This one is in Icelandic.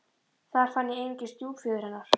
Þar fann ég einungis stjúpföður hennar.